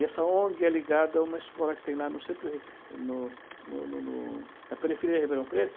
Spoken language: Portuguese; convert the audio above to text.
E essa ONG é ligada a uma escola que tem lá no centro, no no no no na periferia de Ribeirão Preto.